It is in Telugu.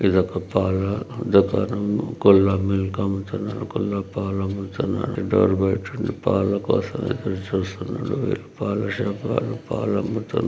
ఇదొక పాల దుకాణము. కొందరు మిల్క్ అమ్ముతున్నారు. కొందరు పాలు అమ్ముతున్నారు. డోర్ బయట పాల కోసం ఎదురు చూస్తున్నారు. పాల షాప్ వాళ్ళు పాలు అమ్ముతున్నారు.